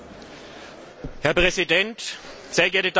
Herr Präsident, sehr geehrte Damen und Herren!